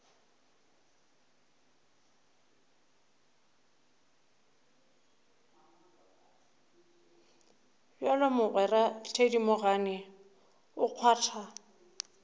bjalo mogwera thedimogane o kgwatha